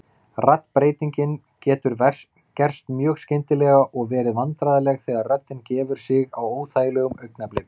Raddbreytingin getur gerst mjög skyndilega og verið vandræðaleg þegar röddin gefur sig á óþægilegum augnablikum.